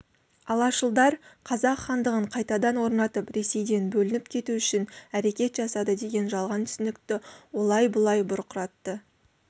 алашылдар қазақ хандығын қайтадан орнатып ресейден бөлініп кету үшін әрекет жасады деген жалған түсінікті олай-бұлай бұрқыратты